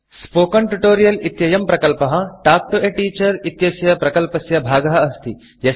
spoken Tutorialस्पोकन् tutorial इत्ययं प्रकल्पः तल्क् तो a Teacherटाक् टु ए टीचर् इत्यस्य प्रकल्पस्य भागः अस्ति